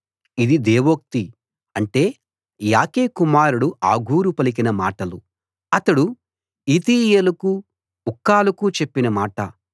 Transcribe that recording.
ఇది దేవోక్తి అంటే యాకె కుమారుడు ఆగూరు పలికిన మాటలు అతడు ఈతీయేలుకు ఉక్కాలుకు చెప్పిన మాట